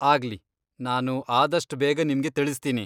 ಆಗ್ಲಿ, ನಾನು ಆದಷ್ಟ್ ಬೇಗ ನಿಮ್ಗೆ ತಿಳಿಸ್ತೀನಿ.